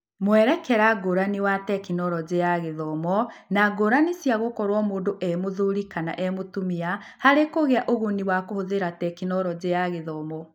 Mwerekera ngũrani wa Tekinoronjĩ ya Githomo na ngũrani cia gũkorwo mũndũ e-mũthuri kana e-mũtumia tumia kũgĩa na ũguni wa kũhũthĩra Tekinoronjĩ ya Gĩthomo.